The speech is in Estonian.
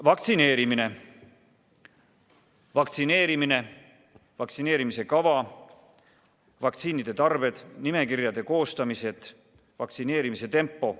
Edasi: vaktsineerimine, vaktsineerimiskava, vaktsiinide tarne, nimekirjade koostamine, vaktsineerimise tempo.